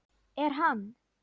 Er hann.